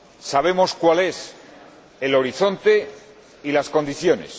Sabemos cuáles son el horizonte y las condiciones.